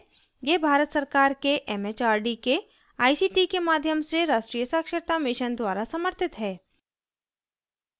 यह भारत सरकार के एमएचआरडी के आईसीटी के माध्यम से राष्ट्रीय साक्षरता mission द्वारा समर्थित है